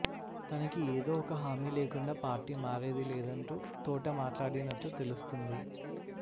తనకి ఎదో ఒక హామీ లేకుండా పార్టీ మారేది లేదంటూ తోట మాట్లాడినట్లు తెలుస్తుంది